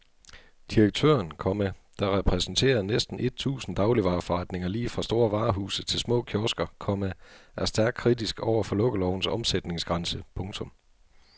Direktøren, komma der repræsenterer næsten et tusind dagligvareforretninger lige fra store varehuse til små kiosker, komma er stærkt kritisk over for lukkelovens omsætningsgrænse. punktum